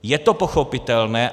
Je to pochopitelné.